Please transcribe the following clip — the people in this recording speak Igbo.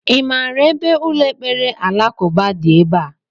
I maara ebe ụlọ ekpere alakụba dị ebea?